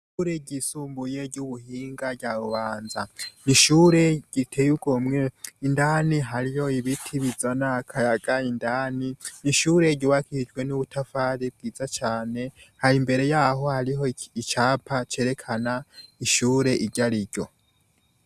Ishure ryisumbuye ry'ubuhinga rya Bubanza. Ishure riteye igomwe, indani hariyo ibiti bizana akayaga indani. Ni ishure ryibakishijwe n'ubutafari bwiza cane. Imbere y'aho hari icapa cerekana ishure iryari ryo.